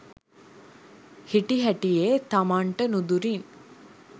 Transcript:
හිටිහැටියේ තමන්ට නුදුරින්